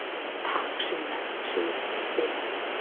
Takk, Sunna, segir hún stimamjúk.